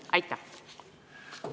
Aitäh!